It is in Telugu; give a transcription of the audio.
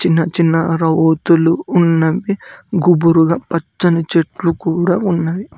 చిన్న రావోతులు ఉన్నవి గుబురుగా పచ్చని చెట్లు కూడా ఉన్నాయి.